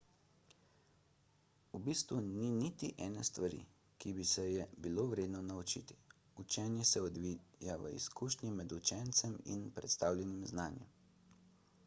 v bistvu ni niti ene stvari ki bi se je bilo vredno naučiti učenje se odvija v izkušnji med učencem in predstavljenim znanjem